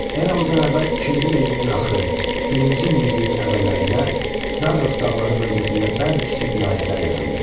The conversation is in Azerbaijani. Eradan əvvəl ikinci minilliyin axırı, birinci minilliyin əvvəllərində Zaqros dağları bölgəsində bəzi kiçik vilayətlər yarandı.